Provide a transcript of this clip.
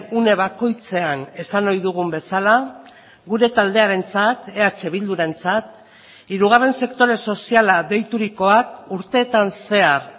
une bakoitzean esan ohi dugun bezala gure taldearentzat eh bildurentzat hirugarren sektore soziala deiturikoak urtetan zehar